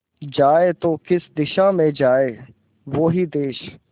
जाए तो किस दिशा में जाए वो ही देस